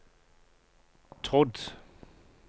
trodd